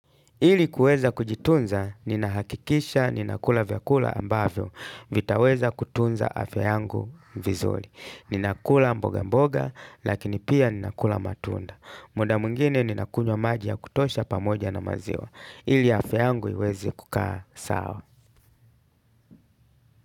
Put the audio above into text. Ili kuweza kujitunza, ninahakikisha ninakula vyakula ambavyo, vitaweza kutunza afya ngu vizuri. Ninakula mboga mboga, lakini pia ninakula matunda. Muda mwingine ninakunywa maji ya kutosha pamoja na maziwa. Ili afya yangu iweze kukaa sawa.